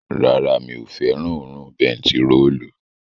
Rárá, mi ò fẹ́ràn òórùn bentiróòlù